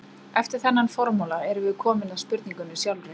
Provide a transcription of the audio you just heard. Eftir þennan formála erum við komin að spurningunni sjálfri.